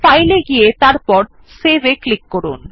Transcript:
file এ গিয়ে তারপর save এ ক্লিক করুন